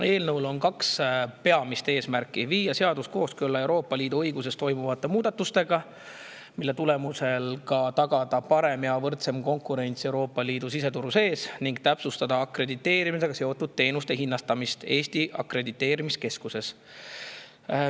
Eelnõul on kaks peamist eesmärki: viia seadus kooskõlla Euroopa Liidu õiguses toimuvate muudatustega, mille tulemusel tagatakse ka parem ja võrdsem konkurents Euroopa Liidu siseturul, ning täpsustada akrediteerimisega seotud teenuste hinnastamist Eesti Akrediteerimiskeskuses.